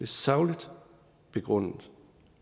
sagligt begrundet